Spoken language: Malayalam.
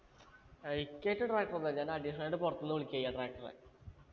എയ്ക്കായ്ട്ട് tractor ഒന്നുല്ല ഞാൻ additional ആയിട്ട് പൊറത്തിന്ന് വിളിക്കെ ചെയ്യാ tractor എ